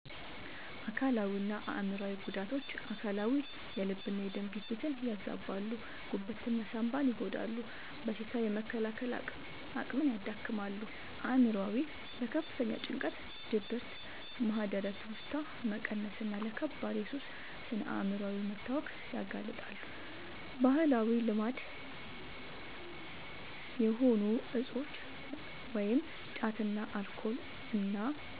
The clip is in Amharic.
አካላዊና አእምሯዊ ጉዳቶች፦ አካላዊ፦ የልብና የደም ግፊትን ያዛባሉ፣ ጉበትና ሳንባን ይጎዳሉ፣ በሽታ የመከላከል አቅምን ያዳክማሉ። አእምሯዊ፦ ለከፍተኛ ጭንቀት፣ ድብርት፣ ማህደረ-ትውስታ መቀነስና ለከባድ የሱስ ስነ-አእምሯዊ መታወክ ያጋልጣሉ። ባህላዊ ልማድ የሆኑ እፆች (ጫትና አልኮል) እና